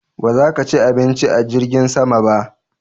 Ba za ka ci abinci a jirgin sama ba?